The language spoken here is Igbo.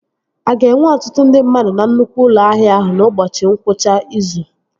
A ga-enwe ọtụtụ ndị mmadụ na nnukwu ụlọ ahịa ahụ n'ụbọchị ngwụcha izu?